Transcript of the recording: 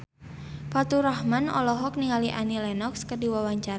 Faturrahman olohok ningali Annie Lenox keur diwawancara